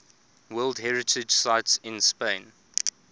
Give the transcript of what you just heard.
world heritage sites in spain